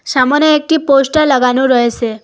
সামোনে একটি পোস্টার লাগানো রয়েসে।